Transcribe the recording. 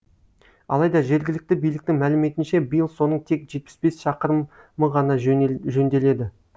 алайда жергілікті биліктің мәліметінше биыл соның тек жетпіс бес шақырым ғана жөнделеді